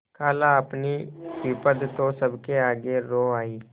खालाअपनी विपद तो सबके आगे रो आयी